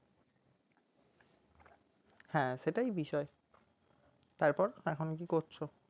হ্যাঁ সেটাই বিষয় তার পর এখন কি করছো?